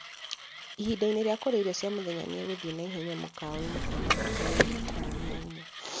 ĩhinda-inĩ rĩa kũrĩa irio cia mũthenya nĩ egũthiĩ na ihenya mũkawaĩni kana nduka ya ĩrio kũu wĩra-ini